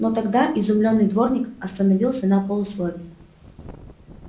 но тогда изумлённый дворник остановился на полуслове